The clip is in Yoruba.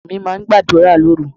Mùsùlùmí máa gbàdúrà lóru.